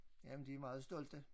Jamen de er meget stolte